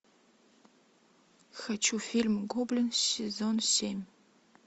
хочу фильм гоблин сезон семь